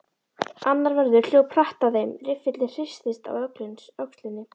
Annar vörður hljóp hratt að þeim, riffillinn hristist á öxlinni.